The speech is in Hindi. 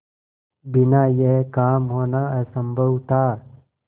बिना यह काम होना असम्भव था